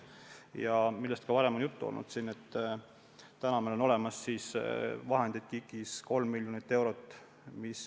Ja sellest on ka varem juttu olnud, et KIK-is on selleks olemas 3 miljonit eurot.